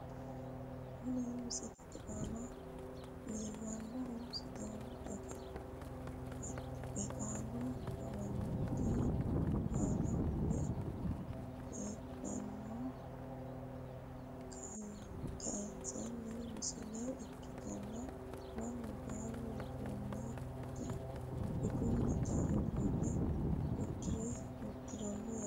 kuni misilete aana leellannohu sidaamu daga qeexaalu amanyooti aan fulte heedheenna kayiinsoonni misile ikkitanna, mannu baalu budunnita uddano uddirino yaate.